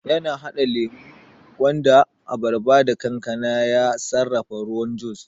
yana hada lemo, gwanda, abarba da kankana ya sarrafa ruwan juis